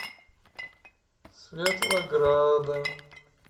светлограда